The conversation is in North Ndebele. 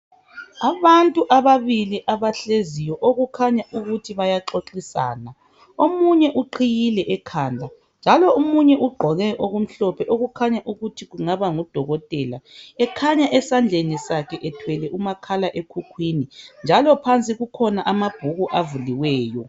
Abantu ababili abahleziyo okukhanya ukuthi bayaxoxisana. Omunye uqhiyile ekhanda, njalo omunye ugqoke okumhlophe okukhanya ukuthi kungaba ngodokotela. Ekhanya esandleni sakhe ethwele umakhalekhukhwini njalo phansi kukhona amabhuku avuliweyo.